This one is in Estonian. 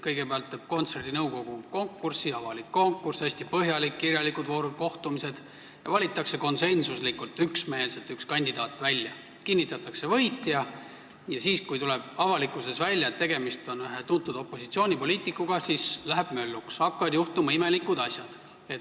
Kõigepealt tegi nõukogu konkursi – see oli avalik konkurss, hästi põhjalik, kirjalikud voorud, kohtumised – ja valiti konsensuslikult üks kandidaat välja, kinnitati võitja, aga siis, kui avalikkus sai teada, et tegemist on ühe tuntud opositsioonipoliitikuga, läks mölluks, hakkasid juhtuma imelikud asjad.